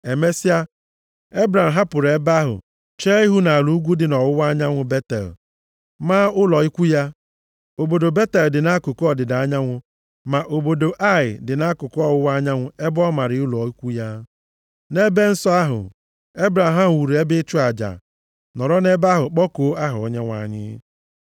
Emesịa, Ebram hapụrụ ebe ahụ chee ihu nʼala ugwu dị nʼọwụwa anyanwụ Betel, maa ụlọ ikwu ya. Obodo Betel dị nʼakụkụ ọdịda anyanwụ, ma obodo Ai dị nʼakụkụ ọwụwa anyanwụ ebe ọ mara ụlọ ikwu ya. Nʼebe nsọ ahụ Ebram wuru ebe ịchụ aja, nọrọ nʼebe ahụ kpọkuo aha Onyenwe anyị.